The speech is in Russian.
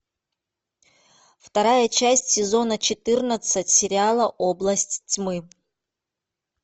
вторая часть сезона четырнадцать сериала область тьмы